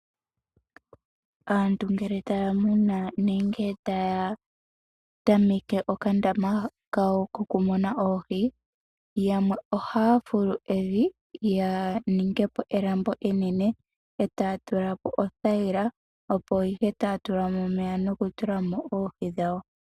Aantu ngele taya munu nenge taya tameke okandama kawo ko kumuna oohi yamwe ohaya fulu evi ya ninge po elambo enene etaya tula po othayila opo ihe taya tula mo oohi dhawo.